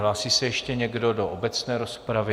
Hlásí se ještě někdo do obecné rozpravy?